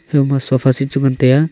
kha ma sofa seat chu ngan taiya.